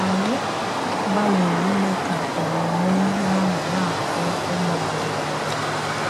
Ànyí gbalírí ime ka ọmụmụ ihe ahụ na-atọ́ ụmụ ànyí ụ̀tọ̀.